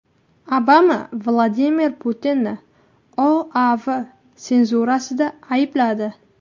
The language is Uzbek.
Obama Vladimir Putinni OAV senzurasida aybladi.